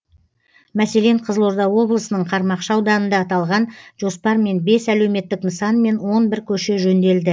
мәселен қызылорда облысының қармақшы ауданында аталған жоспармен бес әлеуметтік нысан мен он бір көше жөнделді